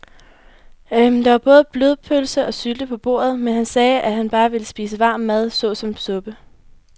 Der var både blodpølse og sylte på bordet, men han sagde, at han bare ville spise varm mad såsom suppe.